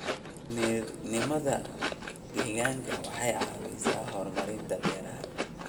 Injineernimada deegaanka waxay caawisaa horumarinta beeraha.